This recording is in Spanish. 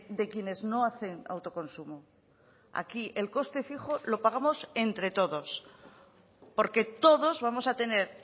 de quienes no hacen autoconsumo aquí el coste fijo lo pagamos entre todos porque todos vamos a tener